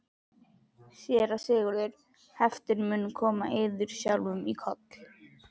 SÉRA SIGURÐUR: Heiftin mun koma yður sjálfum í koll?